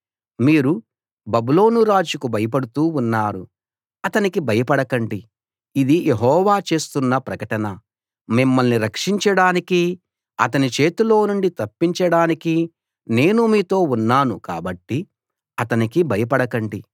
మీరు బబులోను రాజుకు భయపడుతూ ఉన్నారు అతనికి భయపడకండి ఇది యెహోవా చేస్తున్న ప్రకటన మిమ్మల్ని రక్షించడానికీ అతని చేతిలో నుండి తప్పించడానికీ నేను మీతో ఉన్నాను కాబట్టి అతనికి భయపడకండి